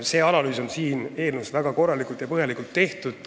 See analüüs on väga korralikult ja põhjalikult tehtud.